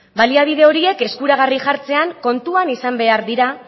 baliabide horiek eskuragarri jartzean kontuan izan behar dira